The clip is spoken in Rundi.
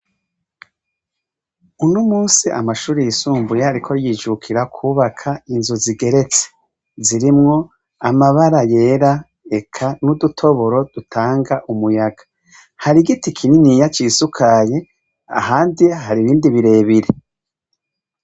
Uno munsi amashure yisumbuye ariko yijukira kwubaka inzu zigeretse ; zirimwo amabara yera eka n'udutoboro dutanga umuyaga. Hari igiti kininiya cisukaye ahandi hari ibindi birebire.